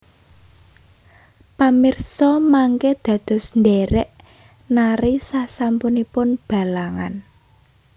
Pamirsa mangké dados ndhèrèk nari sasampunipun Balangan